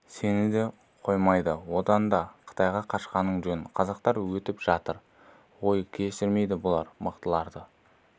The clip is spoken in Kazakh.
сені де қоймайды одан да қытайға қашқаның жөн қазақтар өтіп жатыр ғой кешірмейді бұлар мықтылардың